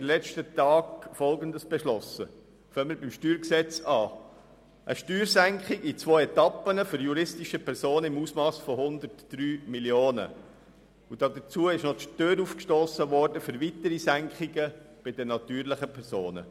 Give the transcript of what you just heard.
Zum StG: Es ging dabei um eine Steuersenkung in zwei Etappen für juristische Personen im Umfang von 103 Mio. Franken im Hinblick auf eine weitere Senkung bei den natürlichen Personen.